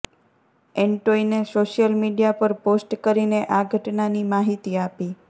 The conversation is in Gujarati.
એન્ટોઇને સોશિયલ મીડિયા પર પોસ્ટ કરીને આ ઘટનાની માહિતી આપી